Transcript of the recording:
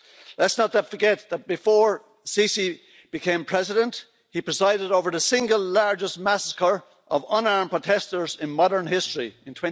Let's not forget that before el Sisi became President, he presided over the single largest massacre of unarmed protesters in modern history in